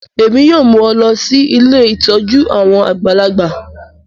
Èmi yoo mu ọ lọ si ilé ìtójú àwon àgbàlagbà